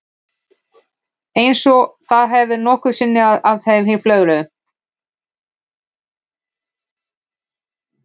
Eins og það hefði nokkru sinni að henni flögrað.